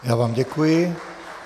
Já vám děkuji.